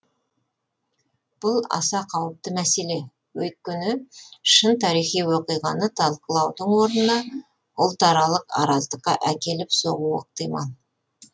бұл аса қауіпті мәселе өйткені шын тарихи оқиғаны талқылаудың орнына ұлт аралық араздыққа әкеліп соғуы ықтимал